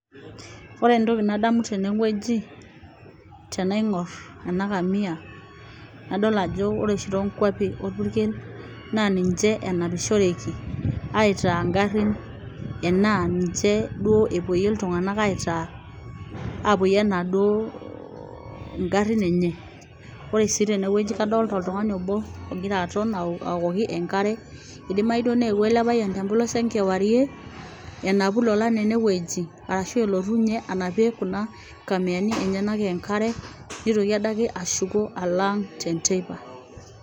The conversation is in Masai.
Ooore entoki nadamu teene wueji, tenaing'or eena kamia, nadol aajo oore oshi tonkuapi orpukel, naa ninche enapishoreki aitaa igarin enaa ninche duo epuoyie iltung'anak aitaa igarin eenye. Oore sii teene wueji kadolta oltung'ani oobo otonita aokoki enkare, eidimau duo neewuo eele payian tempolos enkewarie enapu ilolan eene wueji aarashu eletu ninye anapie kuuna kamiani enyenak enkare neitoki adake ashuko aalo aang' tenteipa .